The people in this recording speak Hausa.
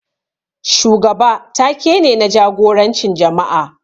Shugaba ta-ke ne, na jagorancin jama'a.